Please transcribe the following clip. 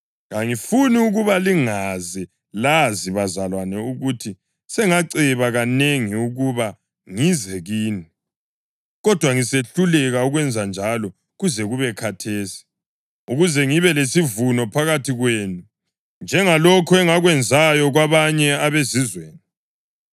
Kangifuni ukuba lingaze lazi, bazalwane, ukuthi sengaceba kanengi ukuba ngize kini (kodwa ngisehluleka ukwenzanjalo kuze kube khathesi) ukuze ngibe lesivuno phakathi kwenu, njengalokhu engakwenzayo kwabanye abeZizweni.